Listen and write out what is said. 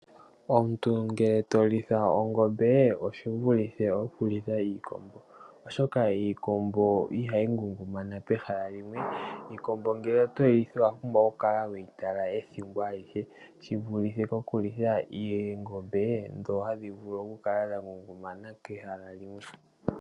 Omuntu ngele to litha ongombe oshi vulithe oku litha iikombo, oshoka iikombo ihayi ngungumana pehala limwe, iikombo ngele otoyi litha owa pumbwa oku kala weyi tala ethimbo alihe, shi vulithe oku litha oongombe dhoka hadhi vulu oku kala dha ngungumana pehala limwe.